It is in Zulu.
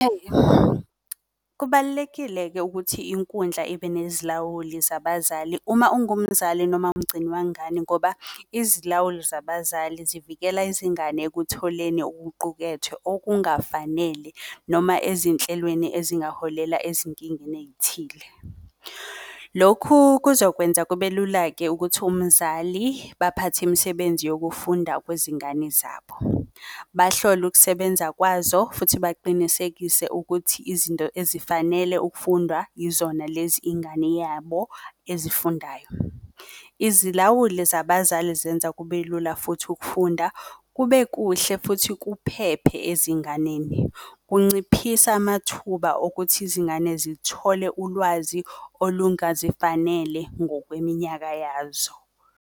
Kubalulekile-ke ukuthi inkundla ibe nezilawuli zabazali uma ungumzali noma umgcini wengane, ngoba izilawuli zabazali zivikela izingane ekutholeni okuqukethwe okungafanele noma ezinhlelweni ezingaholela ezinkingeni eyithile. Lokhu kuzokwenza kube lula-ke ukuthi umzali baphathe imisebenzi yokufunda kwezingane zabo, bahlole ukusebenza kwazo futhi baqinisekise ukuthi izinto ezifanele ukufundwa yizona lezi ingane yabo ezifundayo. Izilawuli zabazali zenza kube lula futhi ukufunda kube kuhle futhi kuphephe ezinganeni. Kunciphisa amathuba okuthi izingane zithole ulwazi olungazifanele ngokweminyaka yazo.